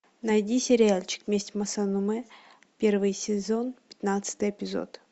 найди сериальчик месть масамуне первый сезон пятнадцатый эпизод